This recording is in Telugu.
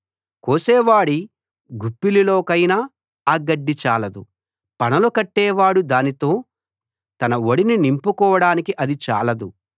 కోసేవాడి గుప్పిలిలోకైనా ఆ గడ్డి చాలదు పనలు కట్టేవాడు దానితో తన ఒడిని నింపుకోడానికి అది చాలదు